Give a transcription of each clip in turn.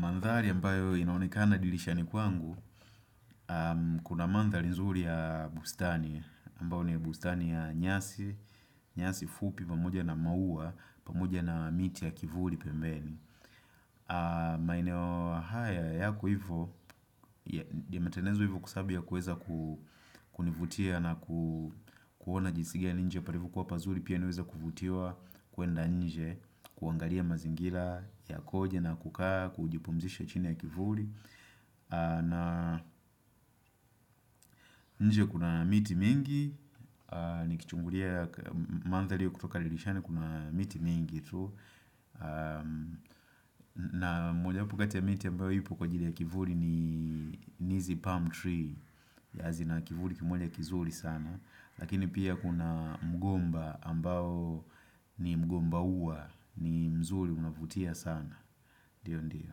Manthari ambayo inaonekana dilishani kwangu, kuna mandhali nzuri ya bustani ambayo ni bustani ya nyasi, nyasi fupi pamoja na maua pamoja na miti ya kivuri pembeni. Maeneo haya yako hivyo yametenezwa hivyo kwavsaby ya kueza kunivutia na kuona jinsi gani nje parivokuwa pazuri pia niweze kuvutiwa kuenda nje kuangalia mazingila yakoje na kukaa kujipumzisha chini ya kivuri na nje kuna miti mingi nikichungulia ya manthali ya kutoka dilishani kuna miti mingi tu na mojawapi kati ya miti ambayo ipo kwa ajili ya kivuri ni ni hizi palm tree yeah zina kivuri kimoja kizuri sana Lakini pia kuna mgomba ambao ni mgomba ua ni mzuri unavutia sana. Ndio ndio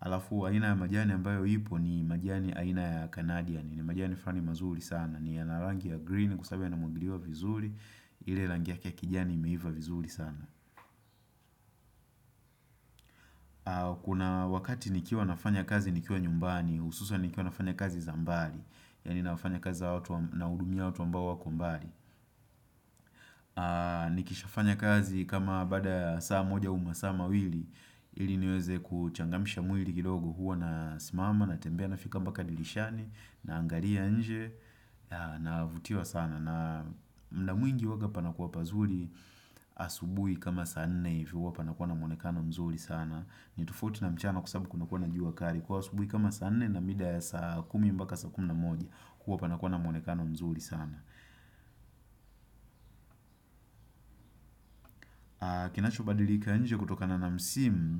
Alafu aina ya majani ambayo ipo ni majani aina ya Canadian ni majani frani mazuri sana ni yana rangi ya green kwa sabu yanamwagiliwa vizuri ile rangi yake ya kijani imeiva vizuri sana Kuna wakati nikiwa nafanya kazi nikiwa nyumbani Ususan nikiwa nafanya kazi za mbali Yaani nafanya kazi naudumia watu ambao wako mbali Nikishafanya kazi kama baada ya saa moja au masaa mawili ili niweze kuchangamsha mwili kidogo huwa nasimama natembea nafika mbaka dilishani Naangaria nje na navutiwa sana mda mwingi huwaga panakuwa pazuri asubui kama saa nne hivi huwa panakuwa na mwonekano mzuri sana ni tofauti na mchana kwa sabu kunakuwa na jua kari kwaio asubuhi kama saa nne na mida ya saa kumi mbaka saa kumi na moja huwa panakuwa na mwonekano mzuri sana kinachobadilika nje kutokana na msim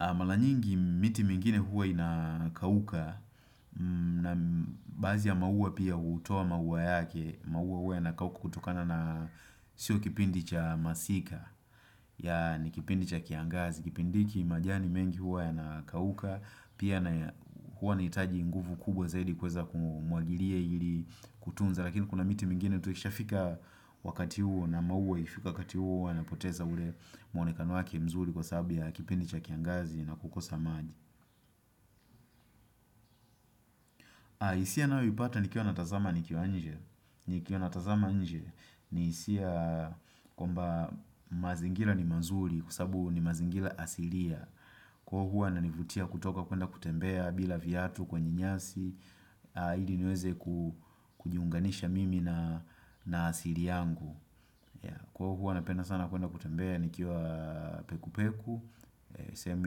mala nyingi miti mingine huwa inakauka na baazi ya maua pia hutoa maua yake maua huwa yanakauka kutokana na sio kipindi cha masika ya ni kipindi cha kiangazi kipindi hiki majani mengi huwa yanakauka Pia na huwa nahitaji nguvu kubwa zaidi kiweza kumwagiria ili kutunza Lakini kuna miti mingine tu ishafika wakati huo na maua ikfika wakati huo huwa yanapoteza ule mwonekano wake mzuri kwa sabu ya kipindi cha kiangazi na kukosa maji isia nayo huipata nikiwa natazama nikiwa anje nikiwa natazama nje ni hisia kwamba mazingila ni mazuri kwa sabu ni mazingila asilia Kwa huwa yananivutia kutoka kwenda kutembea bila viatu kwenye nyasi ili niweze kujiunganisha mimi na asiri yangu Kwaio huwa napenda sana kuenda kutembea nikiwa peku peku sehemu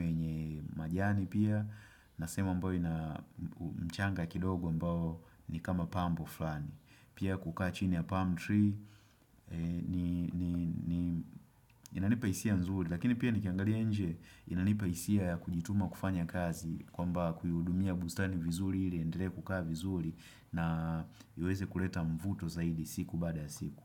yenye majani pia na sehemu ambayo ina mchanga kidogo ambao ni kama pambo flani Pia kukaa chini ya palm tree Inanipa hisia nzuri Lakini pia nikiangalia nje inanipa hisia ya kujituma kufanya kazi kwamba kuiudumia bustani vizuri ili iendelee kukaa vizuri na iweze kuleta mvuto zaidi siku baada ya siku.